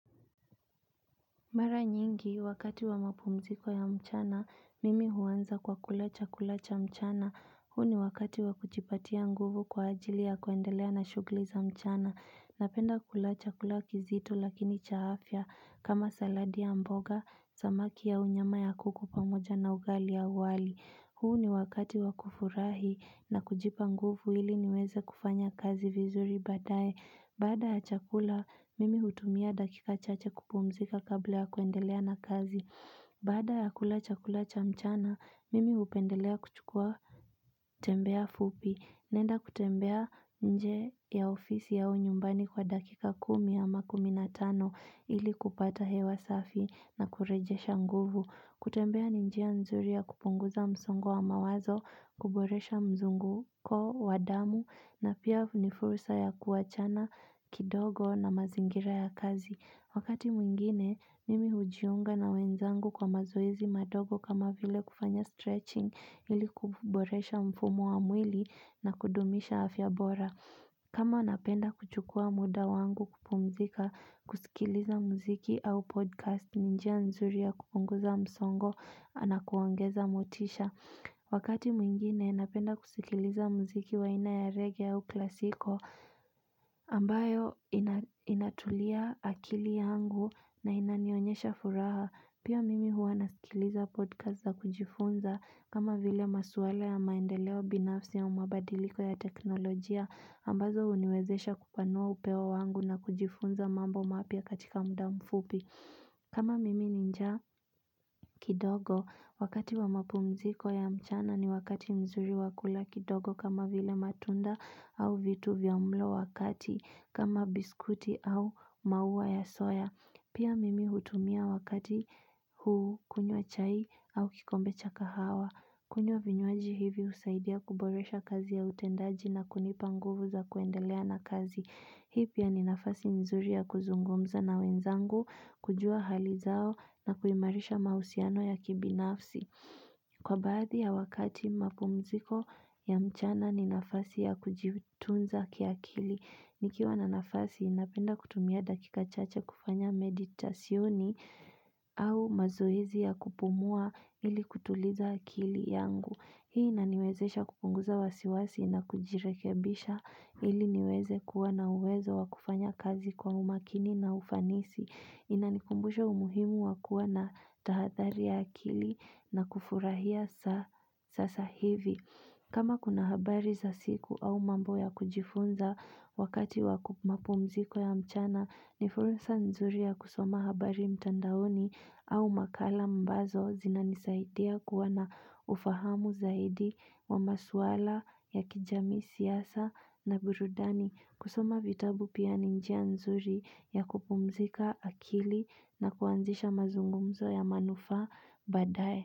Mara nyingi, wakati wa mapumziko ya mchana, mimi huanza kwa kula chakula cha mchana, huu ni wakati wa kujipatia nguvu kwa ajili ya kuendelea na shughuli za mchana, napenda kula chakula kizito lakini cha afya, kama saladi ya mboga, samaki au nyama ya kuku pamoja na ugali au wali. Huu ni wakati wa kufurahi na kujipa nguvu ili niweze kufanya kazi vizuri baadaye. Baada ya chakula, mimi hutumia dakika chache kupumzika kabla ya kuendelea na kazi. Baada ya kula chakula cha mchana, mimi hupendelea kuchukua tembea fupi. Naenda kutembea nje ya ofisi au nyumbani kwa dakika kumi ama kumi na tano ili kupata hewa safi na kurejesha nguvu. Kutembea ni njia nzuri ya kupunguza msongo wa mawazo, kuboresha mzunguko, wa damu, na pia ni fursa ya kuachana kidogo na mazingira ya kazi. Wakati mwingine, mimi hujiunga na wenzangu kwa mazoezi madogo kama vile kufanya stretching ili kuboresha mfumo wa mwili na kudumisha afya bora. Kama anapenda kuchukua muda wangu kupumzika kusikiliza mziki au podcast ni njia nzuri ya kupunguza msongo na kuongeza motisha. Wakati mwingine napenda kusikiliza mziki wa aina ya reggae au klasiko ambayo inatulia akili yangu na inanionyesha furaha. Pia mimi huwa nasikiliza podcast za kujifunza kama vile maswala ya maendeleo binafsi au mabadiliko ya teknolojia ambazo huniwezesha kupanua upeo wangu na kujifunza mambo mapya katika muda mfupi. Kama mimi ni njia kidogo wakati wa mapumziko ya mchana ni wakati mzuri wa kula kidogo kama vile matunda au vitu vya mlo wakati kama biskuti au mauwa ya soya. Pia mimi hutumia wakati huu kunywa chai au kikombe cha kahawa. Kunywa vinywaji hivi husaidia kuboresha kazi ya utendaji na kunipa nguvu za kuendelea na kazi. Hii pia ni nafasi nzuri ya kuzungumza na wenzangu, kujua hali zao na kuimarisha mahusiano ya kibinafsi. Kwa baadhi ya wakati mapumziko ya mchana ni nafasi ya kujitunza kiakili. Nikiwa na nafasi napenda kutumia dakika chache kufanya meditasioni au mazoezi ya kupumua ili kutuliza akili yangu. Hii inaniwezesha kupunguza wasiwasi na kujirekebisha ili niweze kuwa na uwezo wa kufanya kazi kwa umakini na ufanisi. Inanikumbusha umuhimu wa kuwa na tahadhari ya akili na kufurahia sasa hivi. Kama kuna habari za siku au mambo ya kujifunza wakati wa mapumziko ya mchana, ni fursa nzuri ya kusoma habari mtandaoni au makala mbazo zinanisaidia kuwa na ufahamu zaidi wa maswala ya kijamii siasa na burudani. Kusoma vitabu pia ni njia nzuri ya kupumzika akili na kuanzisha mazungumzo ya manufaa baadaye.